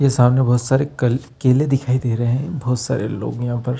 ये सामने बहुत सारी कल केले दिखाई दे रहे है बहुत सारे लोग यहाँ पर --